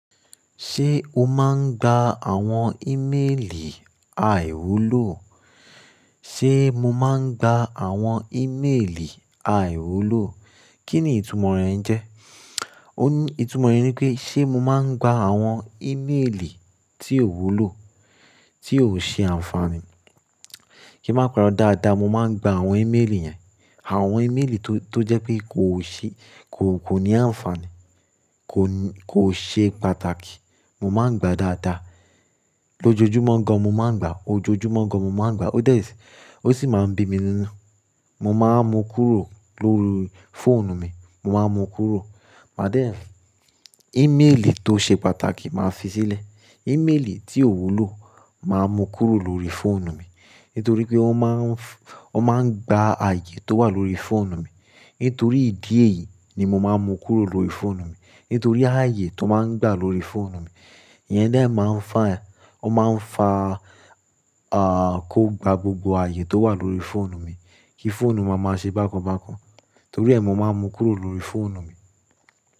Ṣé o máa ń gba àwọn ímeèlì àìwúlò? Ṣé mo máa ń gba àwọn ímeèlì àìwúlò? Kí ni ìtumọ̀ rẹ̀ ń jẹ́? Òní, ìtumọ̀ rẹ̀ ni pé, ṣe mo máa ń gba àwọn ímeèlì tí ò wúlò, tí ò ṣe àǹfààní? Kí máa parọ dáadáa, mo máa ń gba àwọn ímeèlì yẹn. Àwọn ímeèlì tó, tó jẹ́ pé kò ṣe, kò, kò ní àǹfààní, kò ní, kò ṣe pàtàkì. Mo máa ń gba dáadáa. Lójojúmọ́ gan, mo máa ń gba. Ojoojúmọ́ gan mo máa ń gba. O dẹ, ó sì máa ń bí mi níná. Mo máa ń mu kúrò lórí fóònù mi, mo máa ń mu kúrò. But then, ímeèlì tó ṣe pàtàkì, màá fi sílẹ̀. Ímeèlì tí ò wúlò, màá mu kúrò lórí fóònù mi. Nítorí pé wọ́n máa ń f- wọ́n máa ń gba ààyè tó wà lórí fóònù mi. Nítorí ìdí èyí ni mo máa ń mu kúrò lórí fóònù mi. Nítorí ààyè tó máa ń gba lórí fóònù mi. Iyẹn dẹ máa ń fà, ó máa ń fa, ah, kó gba gbogbo ààyè tó wà lórí fóònù mi. Kí fóònù máa, máa ṣe bákan bákan. Nítorí ẹ́, mo máa ń mu kúrò lórí fóònù mi.